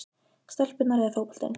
stelpurnar eða fótboltinn?